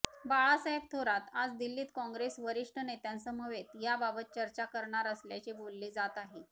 बाळासाहेब थोरात आज दिल्लीत काँग्रेस वरिष्ठ नेत्यांसमवेत याबाबत चर्चा करणार असल्याचे बोलले जात आहे